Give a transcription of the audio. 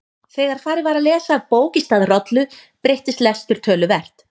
Þegar farið var að lesa af bók í stað rollu breyttist lestur töluvert.